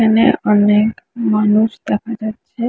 এখানে অনেক মানুষ দেখা যাচ্ছে।